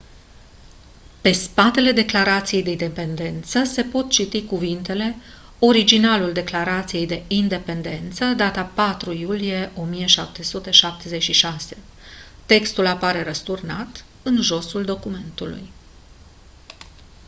pe spatele declarației de independență se pot citi cuvintele: «originalul declarației de independență datat 4 iulie 1776». textul apare răsturnat în josul documentului.